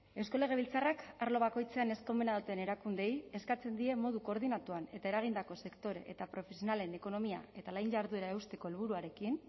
legebiltzarrak arlo bakoitzean eskumena duten erakundeei eskatzen die modu koordinatuan eta eragindako sektore eta profesionalen ekonomia eta lan jarduna eusteko helburuarekin